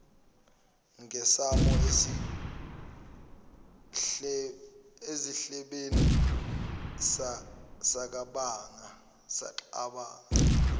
ngesango esiklebheni sacabanga